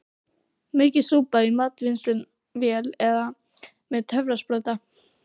Maukið súpuna í matvinnsluvél eða með töfrasprota.